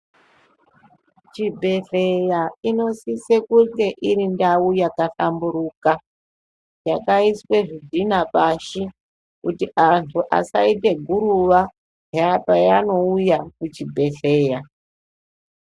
Chibhehleya inosise kuite iri ndau yakahlamburuka, yakaiswe zvidhina pashi kuti antu asaite guruva paanouya kuchibhehleya.